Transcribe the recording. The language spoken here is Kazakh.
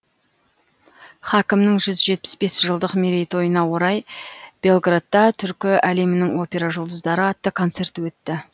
хакімнің жүз жетпіс бес жылдық мерейтойына орай белградта түркі әлемінің опера жұлдыздары атты концерт өтті